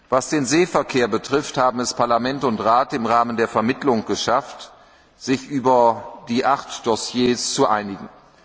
Was den Seeverkehr betrifft, haben es Parlament und Rat im Rahmen der Vermittlung geschafft, sich über die 8 Dossiers zu einigen.